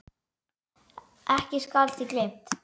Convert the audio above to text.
Ekki skal því gleymt.